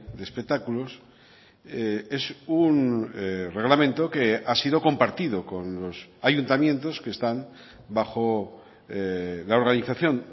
de espectáculos es un reglamento que ha sido compartido con los ayuntamientos que están bajo la organización